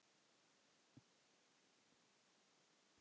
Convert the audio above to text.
Ekki vantrú.